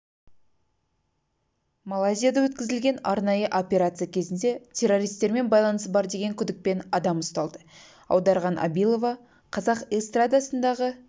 малайзияда өткізілген арнайы операция кезінде террористермен байланысы бар деген күдікпен адам ұсталды аударған абилова қазақ эстрадасындағы